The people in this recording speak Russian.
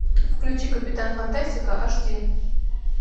включи капитан фантастика эйчди